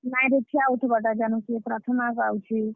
Line ରେ ଠିଆ ଉଠବାର୍ ଟା ଜାନୁଛେ, ପ୍ରାର୍ଥନା ଗାଉଛେ।